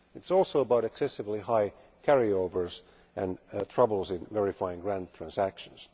It is also about excessively high carry overs and troubles in verifying grant transactions.